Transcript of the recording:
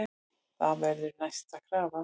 Það verður næsta krafa.